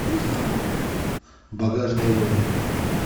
багажные войны